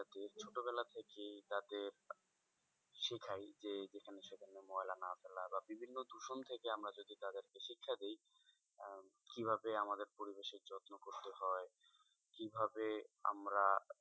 বিভিন্ন দূষণ থেকে আমরা যদি তাদেরকে শিক্ষা দিই আহ কিভাবে আমাদের পরিবেশের যত্ন করতে হয় কি ভাবে আমরা,